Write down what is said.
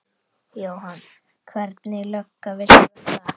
Jóhann: Hvernig lögga viltu verða?